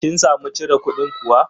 Kin samu cire kudin kuwa?